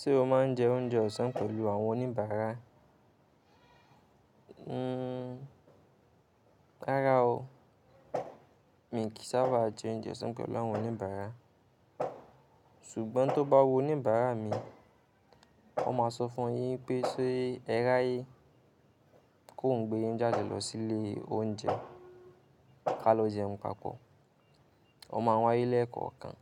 Ṣé o máa ń jẹ oúnjẹ ọ̀sán pẹ̀lú àwọn oníbàárà? Hmm, rárá o. Mi kì í sábà jẹ oúnjẹ ọ̀sán pẹ̀lú àwọn oníbàárà. Ṣùgbọ́n tó bá wo oníbàárà mi, ó máa sọ fún wọn pé ṣe ẹ ráyé ki óhun gbé yín jáde lọ sí ilé oúnjẹ ká lọ jẹun papọ̀. Ó máa wáyé lẹ́ẹ̀kan kan